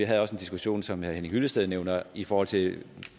havde også en diskussion som herre henning hyllested nævner i forhold til